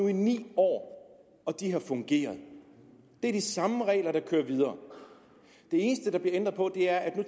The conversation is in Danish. i ni år og de har fungeret det er de samme regler der kører videre det eneste der bliver ændret på er at vi